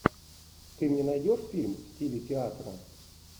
ты мне найдешь фильм в стиле театра